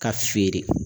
Ka feere